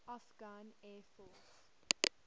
afghan air force